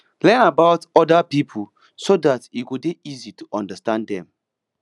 learn about oda pipo so dat e go dey easy to understand dem